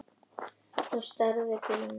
Hún startaði bílnum.